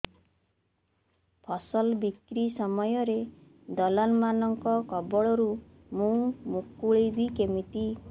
ଫସଲ ବିକ୍ରୀ ସମୟରେ ଦଲାଲ୍ ମାନଙ୍କ କବଳରୁ ମୁଁ ମୁକୁଳିଵି କେମିତି